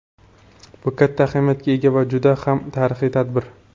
Bu katta ahamiyatga ega va juda ham tarixiy tadbir.